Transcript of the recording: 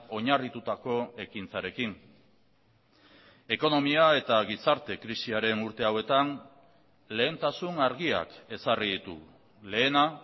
oinarritutako ekintzarekin ekonomia eta gizarte krisiaren urte hauetan lehentasun argiak ezarri ditugu lehena